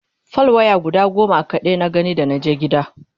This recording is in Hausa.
fal waya guda goma kaɗai na gani da naje ƙauye